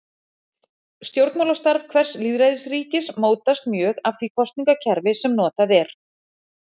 Stjórnmálastarf hvers lýðræðisríkis mótast mjög af því kosningakerfi sem notað er.